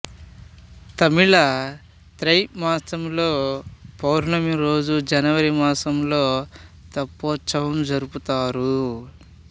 తమిళ తై మాసంలో పౌర్ణమి రోజు జనవరి మాసంలో తెప్పోత్సవం జరుపుతారు